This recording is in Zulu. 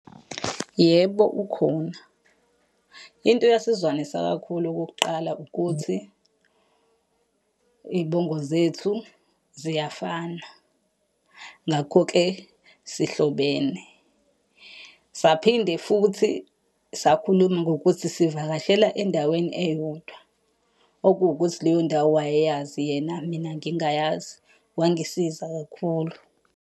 Yebo, ukhona. Into eyasizwanisa kakhulu okokuqala ukuthi, iy'bongo zethu ziyafana, ngakho-ke sihlobene. Saphinde futhi sakhuluma ngokuthi sivakashela endaweni eyodwa, okuwukuthi leyo ndawo wayeyazi yena mina ngingayazi. Wangisiza kakhulu.